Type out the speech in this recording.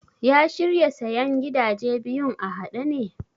Ya shirya sayen gidaje biyun a haɗe ne?